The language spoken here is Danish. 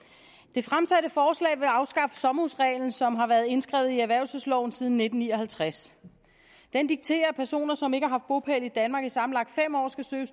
det fremsatte forslag vil afskaffe sommerhusreglen som har været indskrevet i erhvervelsesloven siden nitten ni og halvtreds den dikterer at personer som ikke har haft bopæl i danmark i sammenlagt fem år skal søge